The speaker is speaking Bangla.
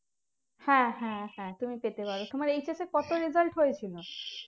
হ্যাঁ হ্যাঁ হ্যাঁ তুমি পেতে পারো তোমার HS এ কতো result হয়েছিলো